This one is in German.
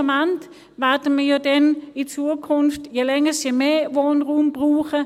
Schlussendlich werden wir ja dann in Zukunft je länger je mehr Wohnraum brauchen.